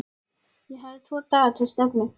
Ég hafði tvo daga til stefnu.